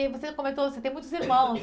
E você comentou assim tem muitos irmãos.